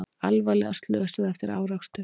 Alvarlega slösuð eftir árekstur